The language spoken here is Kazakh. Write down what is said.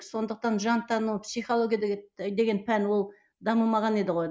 сондықтан жан тән ол психология деген пән ол дамымаған еді ғой